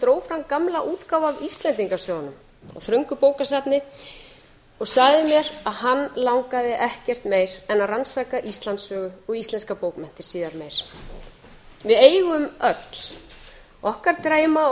dró fram gamla útgáfu af íslendingasögunum úr þröngu bókasafni og sagði mér að hann langaði ekkert meir en að rannsaka íslandssögu og íslenskar bókmenntir síðar meir við eigum öll okkar drauma og